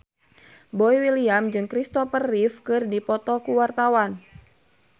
Boy William jeung Christopher Reeve keur dipoto ku wartawan